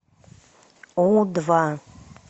у два